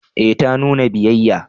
Eh ta nuna biyayya